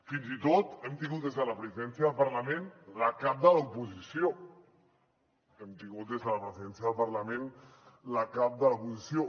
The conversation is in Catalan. fins i tot hem tingut des de la presidència del parlament la cap de l’oposició hem tingut des de la presidència del parlament la cap de l’oposició